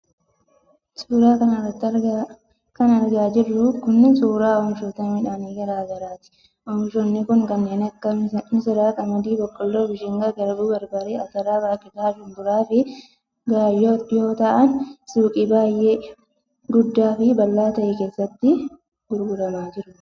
Suura kana irratti kan argaa jirru kun, suura oomishoota midhaanii gosa garaa garaati. Oomishoonni kun kanneen akka :misira, qamadii, boqqoolloo, mishingaa, garbuu ,barbarree, atara ,baaqelaa, shumburaa fi gaayyoo yoo ta'an ,suuqii baay'ee guddaa fi bal'aa ta'e keessatti gurguramaa jiru.